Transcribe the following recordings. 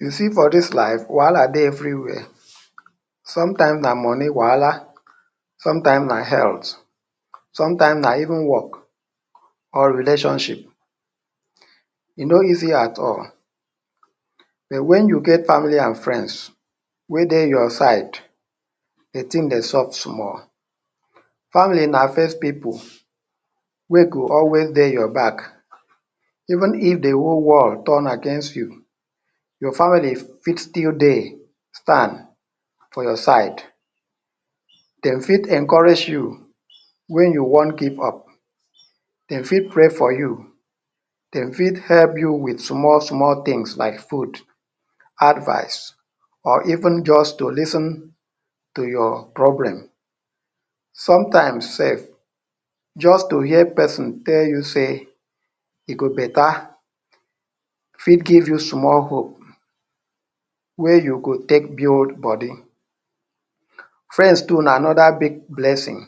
You see for this life wahala dey every sometimes na money wahala sometimes na health sometimes na even work or relationship e no easy at all but when you get family and friends wey dey your side de thing dey soft small family. na first pipu wey go always dey your back even if de whole world turn against you your family fit still dey Stand for your side. dem fit encourage you when you wan give up dem fit pray for you dem fit help you with small small things like food advice or even just to lis ten to your problem. sometimes sef just to hear person tell you sey e go beta fit give you small hope wey you go take build body friend too na another big blessing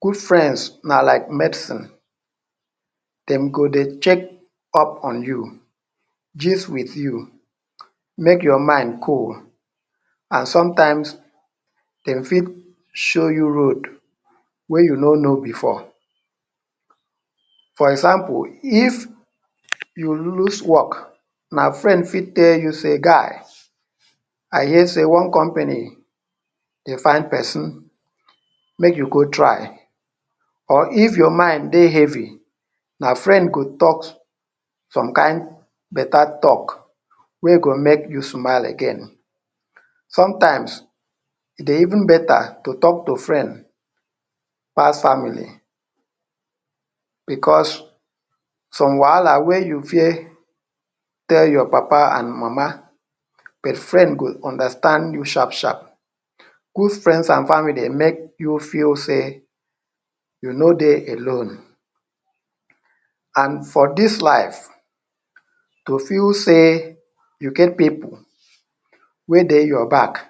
good friends na like medicine dem go dey check up on you gist with you make your mind cool and sometimes dem fit show you road wey you no know before. for example if you lose work na friend fit tell you say guy I hear say one company dey find person make you go try or if your mind dey heavy your friend go talk some kind hard talk wey go make you smile again. sometimes e dey even beta to talk to friend pass family because some wahala wey you fear to tell your papa and your mama but friend go understand you sharp sharp. good friends and family make you feel sey you no dey alone. and for this life to feel sey you get pipu wey dey your back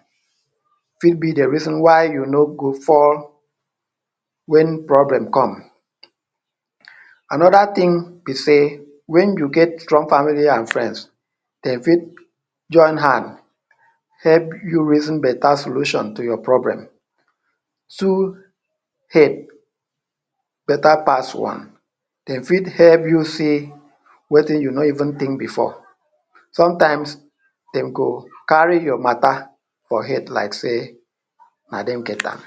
fit be de reason why you no go fall when problem come. another thing be sey, when you get strong family and friends, dem fit join hand help you reason beta solution to your problem. two head beta pass one; dem fit help you say wetin you no even think before. sometimes dem go carry your mata for head like sey na dem get am.